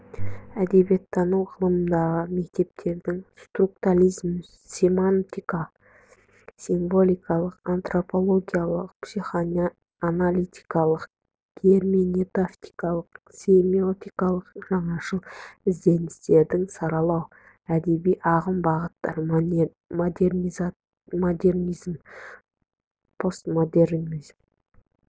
әдебиеттану ғылымындағы мектептердің структализм семантика символикалық антропологиялық психоаналитикалық герменевтикалық семиотикалық жаңашыл ізденістерін саралау әдеби ағым-бағыттар модернизм постмодернизм